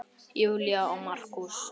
Júlía og Markús.